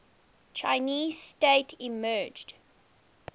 chinese state emerged